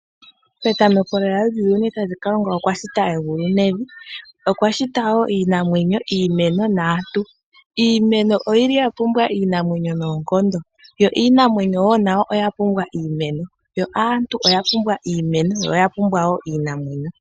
Petameko Kalunga okwashita egulu nevi. Okwa shita woo iinamwenyo, iimeno naantu. Iimeno oya pumbwa iinamwenyo noongondo. Iinamwenyo nayo oya pumbwa iimeno. Aantu oya pumbwa iimeno niinamwenyo.